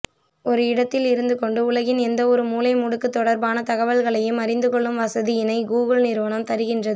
ஒரு இடத்தில் இருந்துகொண்டு உலகின் எந்தவொரு மூலை முடுக்கு தொடர்பான தகவல்களையும் அறிந்துகொள்ளும் வசதியினை கூகுள் நிறுவனம் தருகின்றது